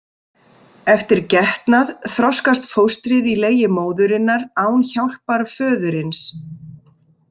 Eftir getnað þroskast fóstrið í legi móðurinnar án hjálpar föðurins.